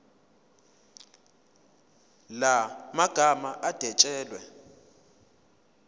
la magama adwetshelwe